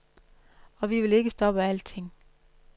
Og vi vil ikke stoppe alting.